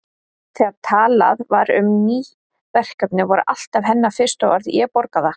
Þegar talað var um ný verkefni voru alltaf hennar fyrstu orð: Ég borga það